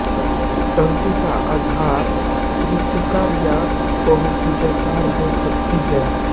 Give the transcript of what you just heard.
टंकी का आधार वृत्तकार या बहुभुजाकार हो सकती है